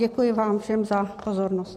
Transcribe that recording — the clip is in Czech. Děkuji vám všem za pozornost.